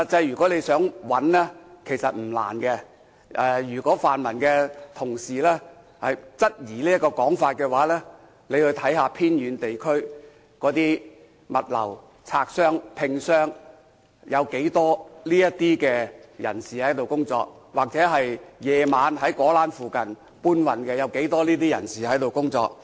如果想找他們的話，實際上並不難，如果泛民同事質疑這種說法的話，可到偏遠地區，看看從事物流工作的，例如拆箱等，有多少是這類人士，或者晚上在果欄附近當搬運工人的，有多少是這類人士。